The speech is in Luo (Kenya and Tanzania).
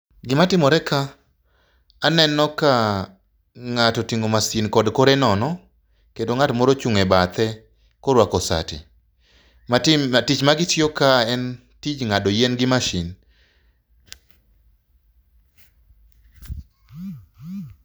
Gima timoreka, aneno ka ng'ato oting'o masin kod kore nono kendo ng'ato ochung' e bathe koruako sati. Tich ma gitiyo ka en tich ng'ado yien gi masin.